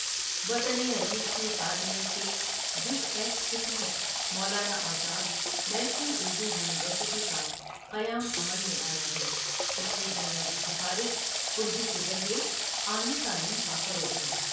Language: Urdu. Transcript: وطن عزیز کے پارلیمنٹ کے جس ایکٹ کے تحت Maulana Azad National Urdu University کا قیام عمل میں آیا ہے اس کی بنیادی سفارش اردو کے ذریے اعلی تعلیم کا فروغ ہے ـ